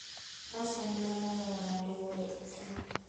Faras en le mong'eyo ng'ado yore e thim.